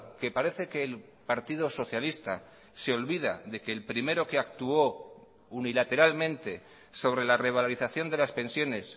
que parece que el partido socialista se olvida de que el primero que actuó unilateralmente sobre la revalorización de las pensiones